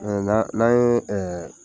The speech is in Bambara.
n'an , n'an ye ɛɛ